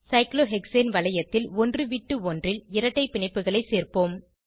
cyclohexane வளையத்தில் ஒன்றுவிட்டு ஒன்றில் இரட்டை பிணைப்புகளை சேர்ப்போம்